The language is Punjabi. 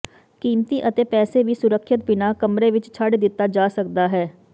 ਕੀਮਤੀ ਅਤੇ ਪੈਸੇ ਵੀ ਸੁਰੱਖਿਅਤ ਬਿਨਾ ਕਮਰੇ ਵਿੱਚ ਛੱਡ ਦਿੱਤਾ ਜਾ ਸਕਦਾ ਹੈ